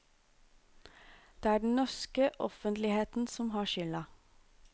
Det er den norske offentligheten som har skylda.